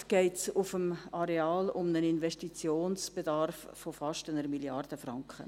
Insgesamt geht es auf dem Areal um einen Investitionsbedarf von fast 1 Mrd. Franken.